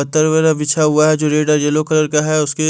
अत्तार वघेरे बिछा हुआ है जो रेड और येलो कलर के है उसके--